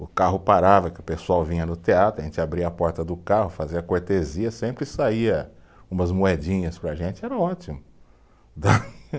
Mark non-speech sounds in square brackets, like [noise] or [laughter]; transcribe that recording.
O carro parava, que o pessoal vinha no teatro, a gente abria a porta do carro, fazia cortesia, sempre saía umas moedinhas para a gente, era ótimo. [laughs]